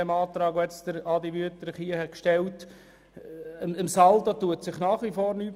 Am Saldo verändert sich nach wie vor nichts.